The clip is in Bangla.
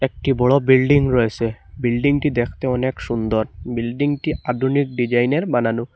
একটি বড়ো বিল্ডিং রয়েসে বিল্ডিংটি দেখতে অনেক সুন্দর বিল্ডিংটি আডুনিক ডিজাইনের বানানো।